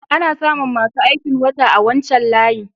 Ana samu masu aikin wata a wancan layin.